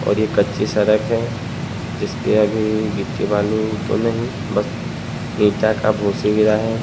और ये कच्ची सड़क है जिस पे अभी गिट्टी बालू तो नहीं बस ईटा का भूसी गिरा है।